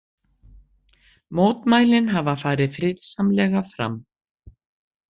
Mótmælin hafa farið friðsamlega fram